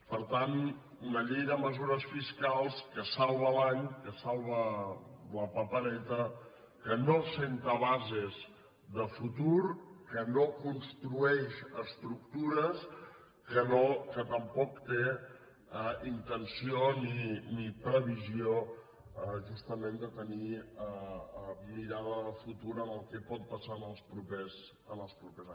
per tant una llei de mesures fiscals que salva l’any que salva la papereta que no assenta bases de futur que no construeix estructures que tampoc té intenció ni previsió justament de tenir mirada de futur en el que pot passar els propers anys